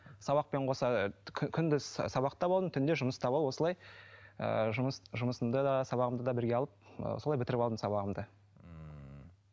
сабақпен қоса күндіз сабақта болдым түнде жұмыста болып осылай ыыы жұмыс жұмысымда да сабағымды да бірге алып ы солай бітіріп алдым сабағымды ммм